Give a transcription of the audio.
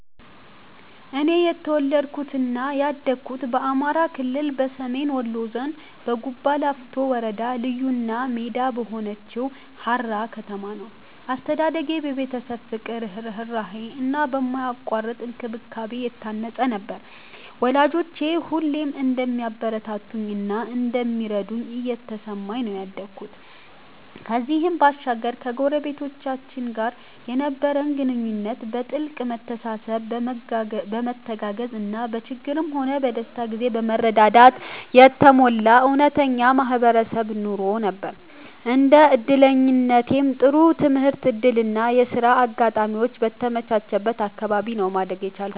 እኔ የተወለድኩት እና ያደኩት በአማራ ክልል፣ በሰሜን ወሎ ዞን፣ በጉባላፍቶ ወረዳ ልዩ እና ሜዳ በሆነችው ሃራ ከተማ ነው። አስተዳደጌ በቤተሰብ ፍቅር፣ ርህራሄ እና በማያቋርጥ እንክብካቤ የታነጸ ነበር፤ ወላጆቼ ሁሌም እንደሚያበረታቱኝ እና እንደሚረዱኝ እየተሰማኝ ነው ያደኩት። ከዚህም ባሻገር ከጎረቤቶቻችን ጋር የነበረን ግንኙነት በጥልቅ መተሳሰብ፣ በመተጋገዝ እና በችግርም ሆነ በደስታ ጊዜ በመረዳዳት የተሞላ እውነተኛ የማህበረሰብ ኑሮ ነበር። እንደ እድለኛነቴም ጥሩ የትምህርት እድል እና የሥራ አጋጣሚዎች በተመቻቸበት አካባቢ ነው ማደግ የቻልኩት።